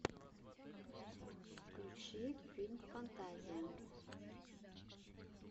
включи фильм фантазия